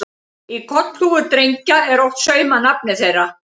Í kollhúfur drengja er oft saumað nafnið þeirra.